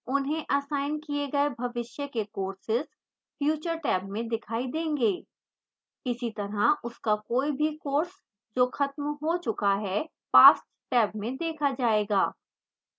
उन्हें असाइन किए गए भविष्य के courses future टैब में दिखाई देंगे इसी तरह उसका कोई भी courses जो खत्म हो चुका है past टैब में देखा जाएगा